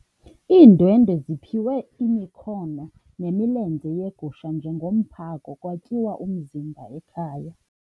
Iindwendwe ziphiwe imikhono nemilenze yegusha njengomphako kwatyiwa umzimba ekhaya.